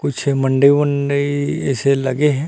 कूछ मंडी वंडी ऐसे लगे है